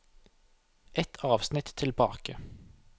Ett avsnitt tilbake